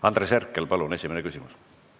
Andres Herkel, palun esimene küsimus!